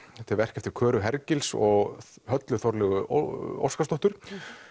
verk eftir Klöru Hergils og Höllu Óskarsdóttur